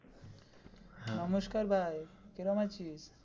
নমস্কার ভাই কিরম আছিস?